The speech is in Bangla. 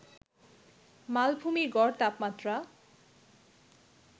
মালভূমির গড় তাপমাত্রা